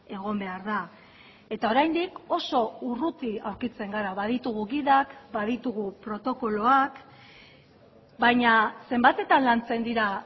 egon behar da eta oraindik oso urruti aurkitzen gara baditugu gidak baditugu protokoloak baina zenbatetan lantzen dira